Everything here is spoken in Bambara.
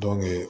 Don be